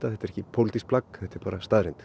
þetta er ekki pólitískt plagg heldur staðreynd